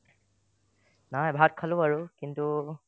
নাই ভাত খালো বাৰু কিন্তু